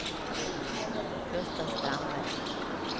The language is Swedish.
Gustav Strandberg